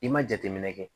I ma jateminɛ kɛ